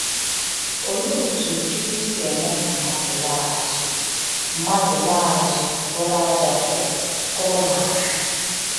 Olee otú Chukwu si eme ka mmadụ ‘laa azụ mmadụ ‘laa azụ bụrụ ájá e kụrụ n’ala?’